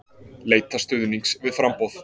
Leita stuðnings við framboð